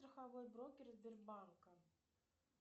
страховой брокер сбербанка